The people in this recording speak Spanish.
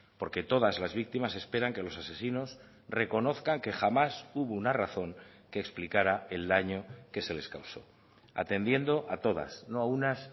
porque todas las víctimas esperan que los asesinos reconozcan que jamás hubo una razón que explicara el daño que se les causó atendiendo a todas no a unas